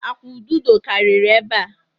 Akwụ̀ ududo karịrị ebe a.